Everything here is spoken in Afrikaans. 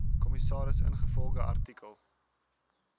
kommissaris ingevolge artikel